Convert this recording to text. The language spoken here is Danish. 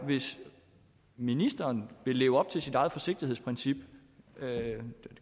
hvis ministeren vil leve op til sit eget forsigtighedsprincip jeg